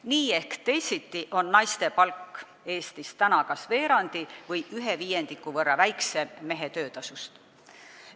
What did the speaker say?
Nii ehk teisiti on naise palk Eestis kas veerandi või viiendiku võrra väiksem mehe töötasust.